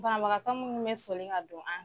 banbagatɔ minnu bɛ sɔli ka don an kan.